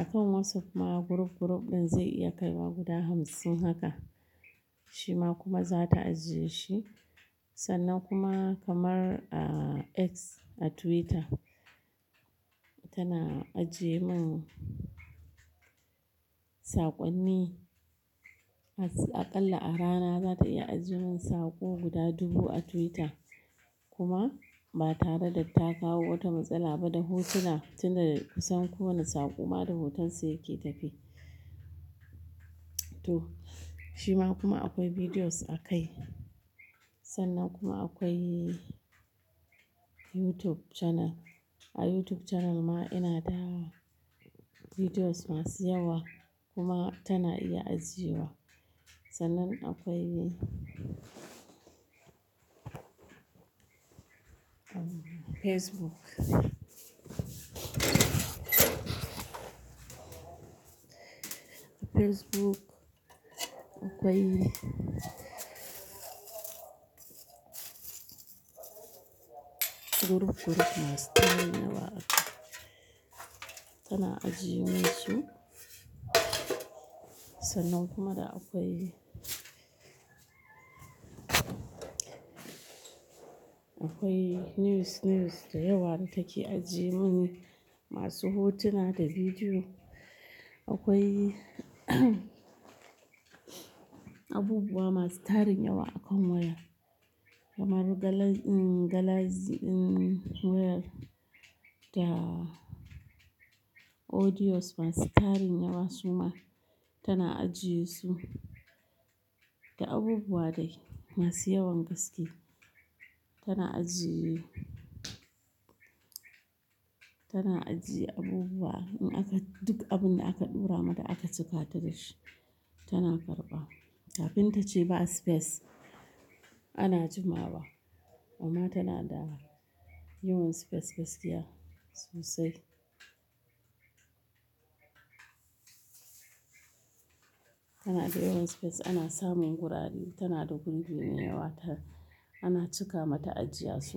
akan WhatsApp ma group, group ɗin zai iya kaiwa guda hamsin haka. Shi ma kuma za ta ajiyeshi. Sannan kuma kamar, ah, X a Twitter tana ajiyemin saƙonni. Aƙalla a rana za ta iya ajiyemin saƙo guda dubu a Twitter kuma ba tare da ta kawo wata matsala ba da hotuna. Tin da ku san kowane saƙo ma da hotonsa yake tafe. To, shi ma kuma akwai bidiyos a kai. Sannan kuma akwai YouTube channel. A YouTube channel ma ina da bidiyos masu yawa kuma tana iya ajiyewa. Sannan akwai Facebook. Facebook akwai group, group masu tarin yawa haka, tana ajiyemin su. Sannan kuma da akwai, akwai news, news da yawa da take ajiyemin masu hotuna da bidiyo. Akwai abubuwa masu tarin yawa akan waya kamar gala-- um, galazi-- um, waya da audios masu tari yawa su ma tana ajiyesu. Da abubuwa dai masu yawan gaske tana aji-- tana ajiye abubuwa in aka, duk abun da aka ɗaura mata aka cika ta da shi tana karɓa. Kafin ta ce ba space ana jimawa amma tana da yawan space, 'gaskiya sosai. Tana da yawan space, ana samun gurare. Tana da gurbi mai yawa ta, ana cika mata ajiya su.